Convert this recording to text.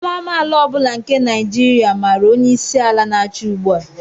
Nwa amaala ọ bụla nke Naijiria màrà onye isi ala n'achị ugbua